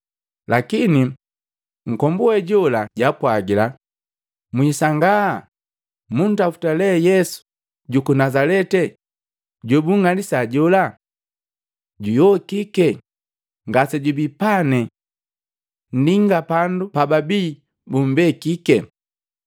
Lakini nkombu we jola jaapwagila, “Mwisangaa. Muntaputa lee Yesu juku Nazaleti jobunng'alisi jola. Juyokike, ngasejubii pane. Ndinga pandu pababii bumbekike.